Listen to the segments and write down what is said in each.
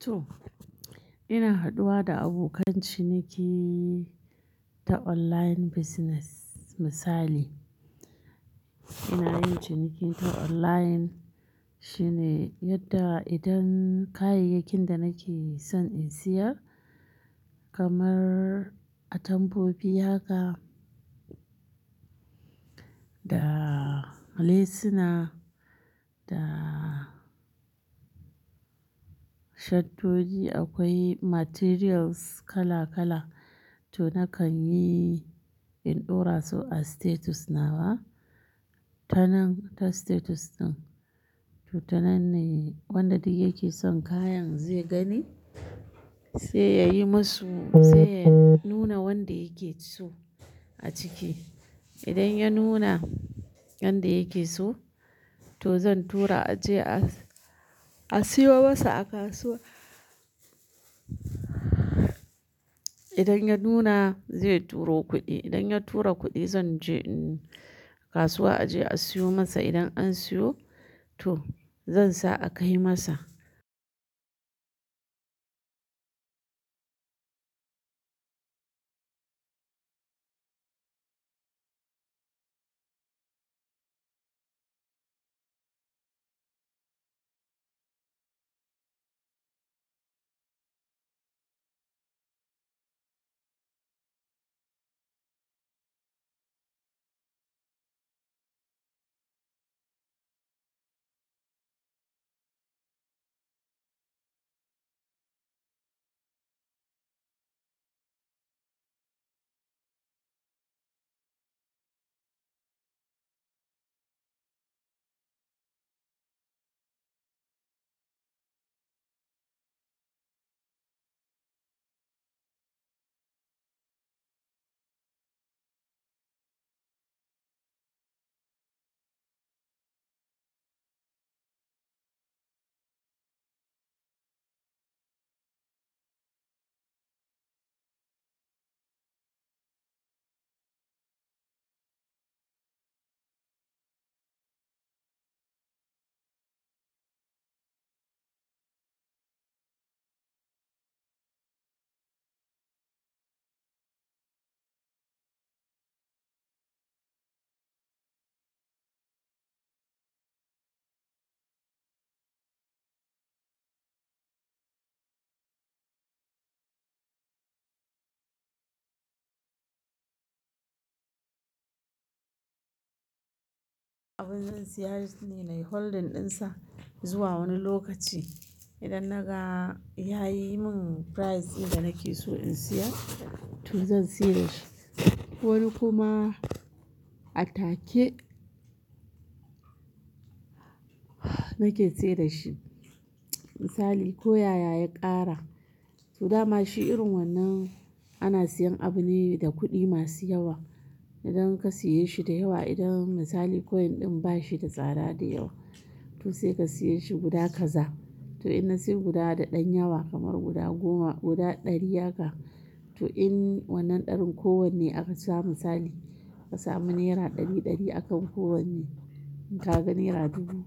To, ina haɗuwa da abokan ciniki ta online business. Misali, ina yin ciniki ta online shine yadda idan kayayyakin da nake son in siya kamar atamfofi haka da lesuna da shaddodi akwai materials kala-kala to nakan yi in ɗora su a status nawa. Ta nan, ta status ɗin, to ta nan ne wanda duk yake son kayan zai gani sai yayi masu sai ya nuna wanda yake so a ciki. Idan ya nuna wanda yake so to zan tura a je a, a siyo masa a kasuwa. Idan ya nuna zai turo kuɗi, idan ya tura kuɗi zan je in kasuwa a je a siyo masa. Idan an siyo to zan sa a kai masa. Abin zan siya shi ne, nayi holding dinsa zuwa wani lokaci. Idan naga ya yi mun price in da nake so in siya to zan saida shi. Wani kuma a take nake saida shi. Misali, ko yaya ya ƙara to dama shi irin wannan ana siyan abu ne da kuɗi masu yawa. Idan ka siye shi da yawa, idan misali coin ɗin ba shi da tsada da yawa to sai ka siya shi guda kaza. To ina siyan guda da ɗan yawa kamar guda goma, guda ɗari haka. To in wannan ɗarin kowane aka samu misali, ka samu naira ɗari-ɗari akan kowane. In ka ga naira dubu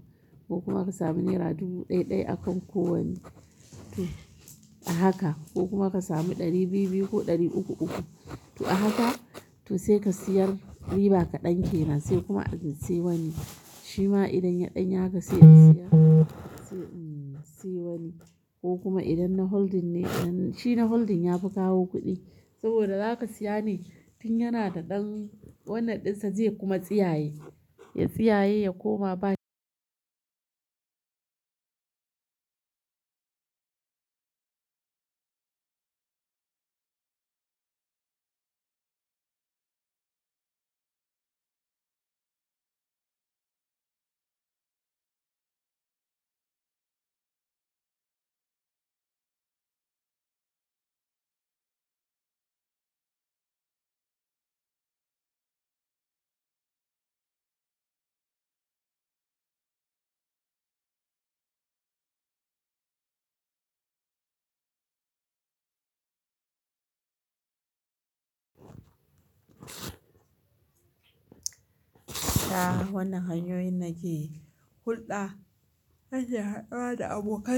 ko kuma ka samu naira dubu ɗai-ɗai akan kowane to a haka ko kuma ka samu ɗari biyu-biyu ko ɗari uku-uku to a haka. To sai ka siyar riba kaɗan kenan sai kuma a in sai wani. Shi ma idan ya ɗan yi haƙa sai in siya, sai in siyo wani ko kuma idan na holding ne, idan shi na holding ya fi kawo kuɗi. Saboda za ka siya ne tun yana da ɗan wannan ɗinsa zai kuma tsiyaye. Ya tsiyaye ya koma ba-- Ta wannan hanyoyin nake hulɗa na ke haɗuwa da abokan.